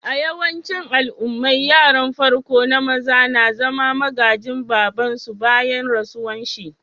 A'yawancin al'ummai, yaran farko na maza na zama magajin baba'n su bayan rasuwan shi.